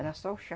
Era só o chá.